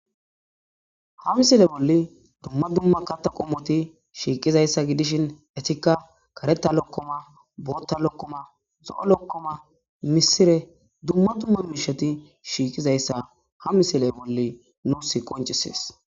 ha misile bolli dumma dumma katta qommoti shiiqizayssa gidishin etikka kareta lokkoma bootta lokkoma zo'o lokkoma misire dumma dumma miisheti shiiqizayssa ha misile bolli nuus qoncisees